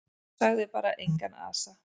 Og sagði bara: Engan asa.